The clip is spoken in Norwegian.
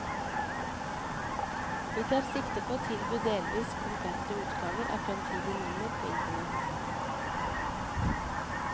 Vi tar sikte på å tilby delvis komplette utgaver av fremtidige nummer på internett.